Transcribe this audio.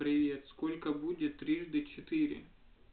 привет сколько будет трижды четыре